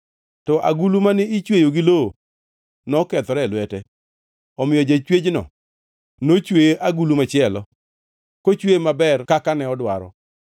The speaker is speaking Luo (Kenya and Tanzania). To agulu mane ichweyo gi lowo nokethore e lwete; omiyo jachwechno nochweye agulu machielo, kochweye maber kaka ne odwaro.